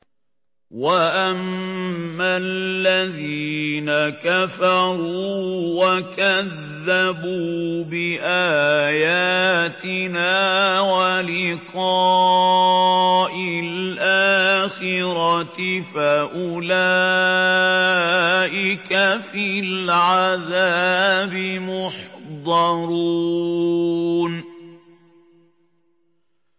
وَأَمَّا الَّذِينَ كَفَرُوا وَكَذَّبُوا بِآيَاتِنَا وَلِقَاءِ الْآخِرَةِ فَأُولَٰئِكَ فِي الْعَذَابِ مُحْضَرُونَ